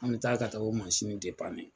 An bɛ taa ka taa o mansin